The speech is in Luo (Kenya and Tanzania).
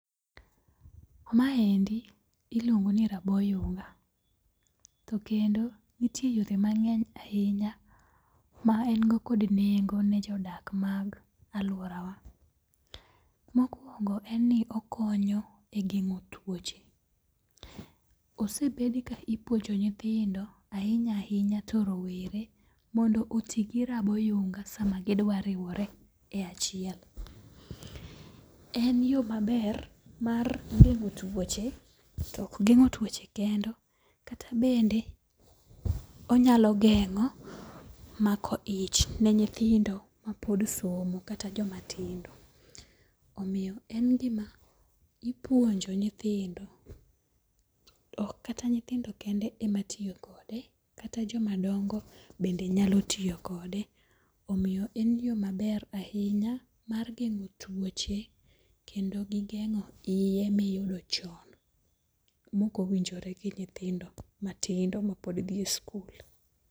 Maendi iluongo ni rabo yunga ,to kendo nitie yore mang'eny ahinya ma en go kod nengo ne jodak mag alworawa. Mokwongo, en ni okonyo e geng'o tuoche. Osebed ka ipuonjo nyithindo, ahinya ahinya to rowere mondo oti gi rabo yunga sama gidwa riwore e achiel. En yo maber mar geng'o tuoche, to ok geng'o tuoche kende kata bende onyalo geng'o mako ich ne nyithindo mapod somo kata jomatindo. Omiyo en gima ipuonjo nyithindo ,ok kata nyithindo kende ematiyo kode kata jomadongo bende nyalo tiyo kode. Omiyo en yo maber ahinya mar geng'o tuoche kendo gi geng'o iye miyudo chon mok woinjore gi nyithindo matindo mapod dhi e skul.